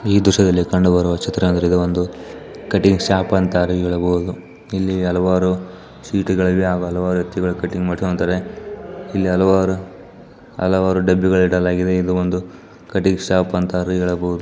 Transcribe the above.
ಈ ದೃಶ್ಯದಲ್ಲಿ ಕಂಡುಬರುವ ಚಿತ್ರ ಅಂದ್ರೆ ಇದು ಒಂದು ಕಟ್ಟಿಂಗ್ ಶಾಪ್ ಅಂತಾಲೂ ಹೇಳಬಹುದು ಇಲ್ಲಿ ಹಲವಾರು ಸೀಟುಗಳಿವೆ ಮೇಲೆ ಹಲಾವಾರು ವ್ಯಕ್ತಿಗಳು ಕಟ್ಟಿಂಗ್ ಮಾಡಿಸ್ಕೊತ್ತಾರೆ ಇಲ್ಲಿ ಹಲವಾರು ಹಲವಾರು ಡಬ್ಬಿ ಇಡಲಾಗಿದೆ ಎಂದು ಒಂದು ಕಟ್ಟಿಂಗ್ ಶಾಪ್ ಅಂತಲೂ ಹೇಳಬಹುದು.